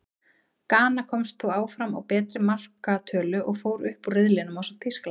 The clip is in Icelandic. Gana komst þó áfram á betri markatölu, og fór upp úr riðlinum ásamt Þýskalandi.